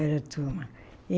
Era a turma.